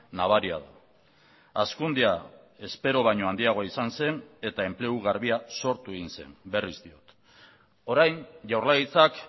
nabaria da hazkundea espero baino handiagoa izan zen eta enplegu garbia sortu egin zen berriz diot orain jaurlaritzak